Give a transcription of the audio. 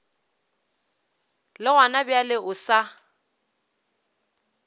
le gona bjale o sa